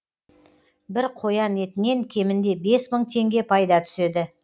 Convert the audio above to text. бір қоян етінен кемінде бес мың теңге пайда түседі